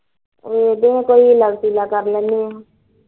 ਇਹੀ ਕੋਈ ਹੀਲਾ ਵਸੀਲਾ ਕਰ ਲੈਂਦੀ ਐ